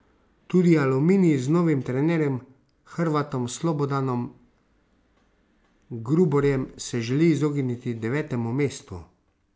Tudi Aluminij z novim trenerjem, Hrvatom Slobodanom Gruborjem, se želi izogniti devetemu mestu.